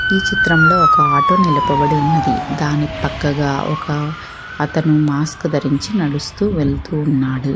ఈ చిత్రంలో ఒక ఆటో నిలపబడి ఉన్నది దాని పక్కగా ఒక అతను మాస్క్ ధరించి నడుస్తూ వెళ్తూ ఉన్నాడు.